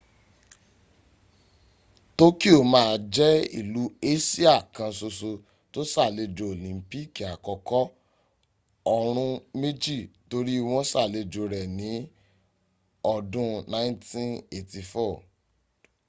tokio màá jẹ́ ìlú asia kan soso to sàlejo olimpiki àkókò ọ̀run méjì torí wọ́́n salejo re ní ọdún 1984